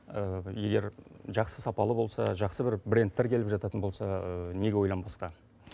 егер жақсы сапалы болса жақсы бір брендтер келіп жататын болса неге ойланбасқа